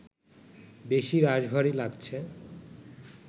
বেশি রাশভারী লাগছে